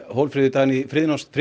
Hólmfríður Dagný Friðjónsdóttir